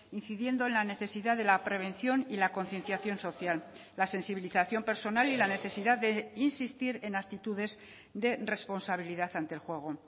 incidiendo en la necesidad de la prevención y la concienciación social la sensibilización personal y la necesidad de insistir en actitudes de responsabilidad ante el juego